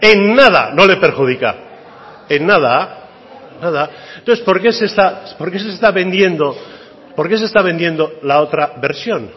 en nada no le perjudica en nada nada entonces por qué se está vendiendo la otra versión